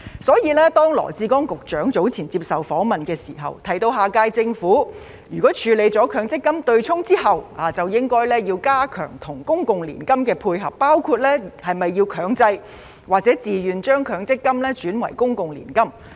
所以，當羅致光局長早前接受訪問時，提到下屆政府處理取消強積金對沖之後，應加強與公共年金的配合，包括是否要強制或自願將強積金轉移為公共年金。